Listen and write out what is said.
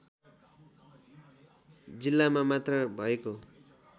जिल्लामा मात्र भएको